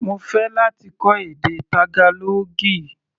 Mo fẹ́ láti kọ́ èdè Tágálọ́ọ̀gì.